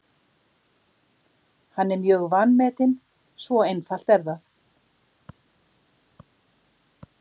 Hann er mjög vanmetinn, svo einfalt er það.